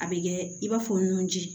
A bɛ kɛ i b'a fɔ nunji